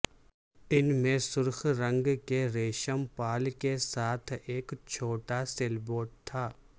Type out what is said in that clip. ان میں سرخ رنگ کے ریشم پال کے ساتھ ایک چھوٹا سیلبوٹ تھا